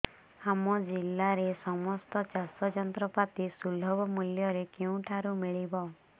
ଆମ ଜିଲ୍ଲାରେ ସମସ୍ତ ଚାଷ ଯନ୍ତ୍ରପାତି ସୁଲଭ ମୁଲ୍ଯରେ କେଉଁଠାରୁ ମିଳିବ